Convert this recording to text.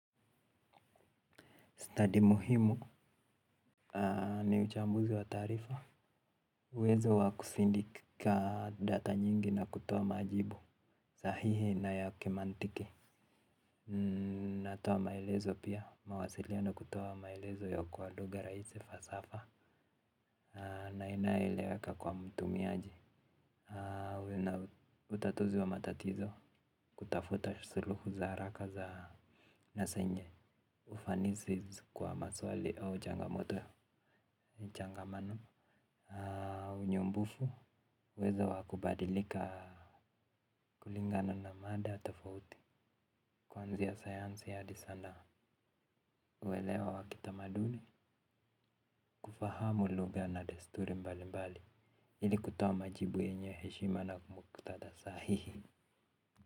Study muhimu ni uchambuzi wa taarifa. Uwezo wa kusindika data nyingi na kutoa majibu. Sahihi na ya kimantiki. Natoa maelezo pia. Mawasiliano kutoa maelezo ya kwa lugha rahisi fasafa. Na inayoeleweka kwa mtumiaji. Utatuzi wa matatizo kutafuta suluhu za haraka za na zenye. Ufanisi kwa maswali au changamoto, changamano. Unyumbufu, uwezo wa kubadilika kulingana na mada tofauti kwanzia sayansi hadi sanaa uwelewa wa kitamaduni kufahamu lugha na desturi mbalimbali ili kutoa majibu yenye heshima na muktadha sahihi.